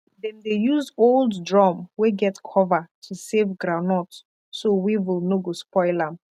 dem dey use old drum wey get cover to save groundnut so weevil no go spoil am